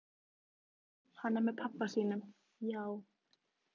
Hann er með pabba sínum, já.